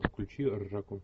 включи ржаку